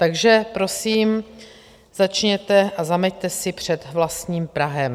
Takže prosím, začněte a zameťte si před vlastním prahem.